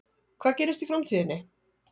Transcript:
Hvað gerist í framtíðinni?